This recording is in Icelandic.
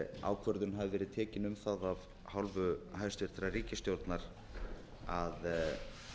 ákvörðun hafi verið tekin um það af hálfu hæstvirtrar ríkisstjórnar að